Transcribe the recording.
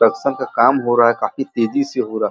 production का काम हो रहा है काफी तेज़ी से हो रहा --